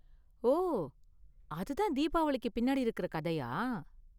ஓ, அது தான் தீபாவளிக்கு பின்னாடி இருக்கற கதையா?